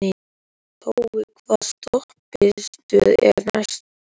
Tói, hvaða stoppistöð er næst mér?